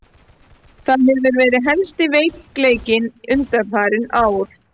Það hefur verið helsti veikleikinn undanfarin ár.